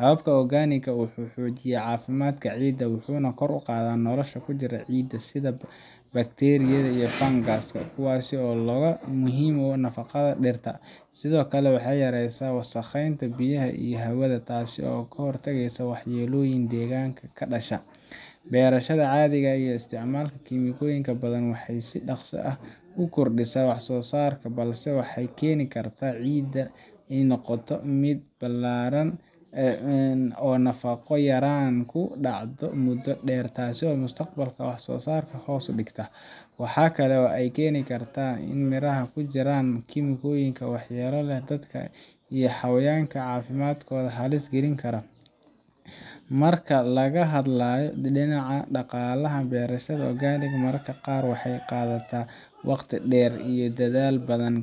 Habkan organic-ka ah wuxuu xoojiyaa caafimaadka ciidda, wuxuuna kor u qaadaa noolaha ku jira ciidda sida bakteeriyada iyo fangaska, kuwaas oo muhiim u ah nafaqada dhirta. Sidoo kale, waxay yareysaa wasakheynta biyaha iyo hawada, taasoo ka hortagaysa waxyeelooyin deegaanka ka dhasha. Beerashada caadiga ah oo isticmaasha kiimikooyinka badanaa waxay si dhakhso ah u kordhisaa wax-soo-saarka, balse waxay keeni kartaa in ciidda ay noqoto mid daallan, oo nafaqo yaraan ku dhacdo muddo dheer, taas oo mustaqbalka wax soo saarka hoos u dhigta. Waxaa kale oo ay keeni kartaa in miraha ay ku jiraan kiimikooyin waxyeello leh oo dadka iyo xayawaanka caafimaadkooda halis gelin kara. Marka laga hadlayo dhinaca dhaqaalaha, beerashada organic mararka qaar waxay qaadataa waqti dheer iyo dadaal badan,